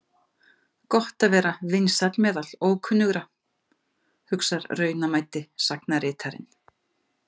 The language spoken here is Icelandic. Gott að vera vinsæll meðal ókunnugra, hugsar raunamæddi sagnaritarinn.